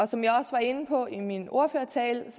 som jeg også var inde på i min ordførertale er